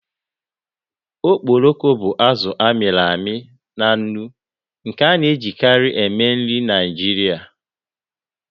Okporoko bụ azụ a mịrị amị na nnu nke a na-ejikarị eme nri Naijiria.